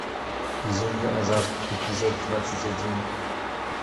безумный азарт эпизод двадцать один